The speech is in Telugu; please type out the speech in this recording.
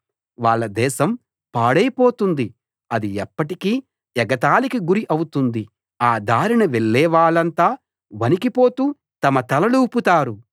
వాళ్ళ దేశం పాడైపోతుంది అది ఎప్పటికీ ఎగతాళికి గురి అవుతుంది ఆ దారిన వెళ్లేవాళ్ళంతా వణికిపోతూ తమ తలలూపుతారు